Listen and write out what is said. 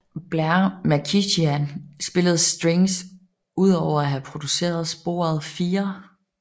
Blair MacKichan spillede Strings udover at have produceret sporet 4